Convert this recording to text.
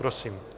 Prosím.